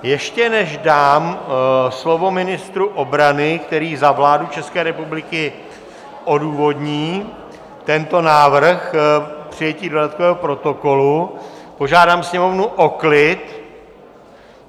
Ještě než dám slovo ministru obrany, který za vládu České republiky odůvodní tento návrh přijetí dodatkového protokolu, požádám sněmovnu o klid!